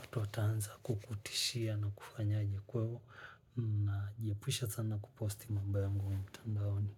watu watanza kukutishia na kufanyaje kweo. Najiepusha sana kuposti mambo yangu mtandaoni.